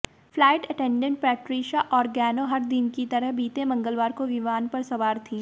flight attendant Patricia Organo हर दिन की तरह बीते मंगलवार को विमान पर सवार थीं